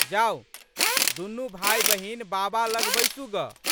जाउ दुनू भाइबहिन बाबा लग बैसू गऽ।